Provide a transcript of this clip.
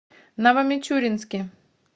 новомичуринске